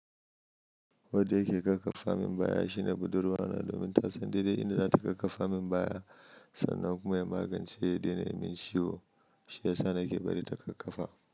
Wadda yake ƙakkafa min baya shine budurwa ne domin ta san daidai inda za ta ƙakkafa min baya sannan kuma ya magance yi da ni mai ciwo. Shi ya sa nake bari ta ƙakkafa.